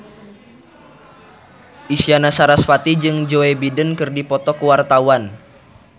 Isyana Sarasvati jeung Joe Biden keur dipoto ku wartawan